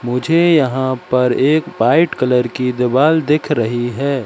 मुझे यहां पर एक वाइट कलर की दीवाल दिख रही है।